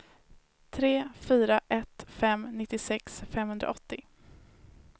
tre fyra ett fem nittiosex femhundraåttio